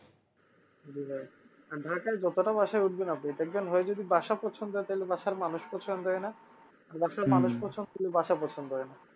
জি ভাই আর ঢাকায় যত টা বাসায় উঠবেন আপনি দেখবেন ওই যদি বাসা পছন্দ হয় তালে বাসার মানুষ পছন্দ হয় না পছন্দ হলে বাসা পছন্দ হয় না